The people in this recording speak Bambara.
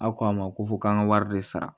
Aw ko a ma ko fɔ k'an ka wari de sara